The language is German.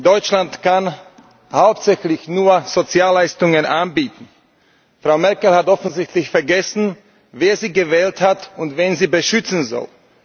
Deutschland kann hauptsächlich nur Sozialleistungen anbieten. Frau Merkel hat offensichtlich vergessen, wer sie gewählt hat und wen sie beschützen soll.